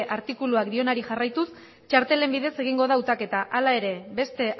artikuluak dionari jarraituz txartelen bidez egingo da hautaketa hala ere beste